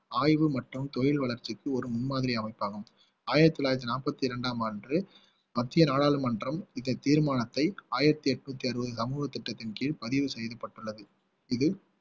ஆய்வு மற்றும் தொழில் வளர்ச்சிக்கு ஒரு முன்மாதிரி அமைப்பாகும் ஆயிரத்தி தொள்ளாயிரத்தி நாற்பத்தி இரண்டாம் ஆண்டு மத்திய நாடாளுமன்றம் இந்த தீர்மானத்தை ஆயிரத்தி எட்நூத்தி அறுபது ரங்கு திட்டத்தின் கீழ் பதிவு செய்யப்பட்டுள்ளது இது